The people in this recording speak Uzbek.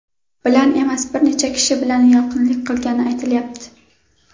bilan emas, bir necha kishi bilan yaqinlik qilgani aytilyapti.